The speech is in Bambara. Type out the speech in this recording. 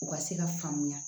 U ka se ka faamuya